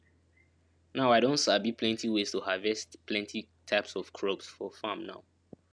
now i don sabi plenty ways to harvest plenty type of crops for farm now